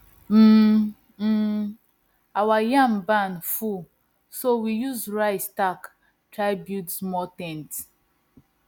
um um our yam barn full so we use rice stalk try build small ten t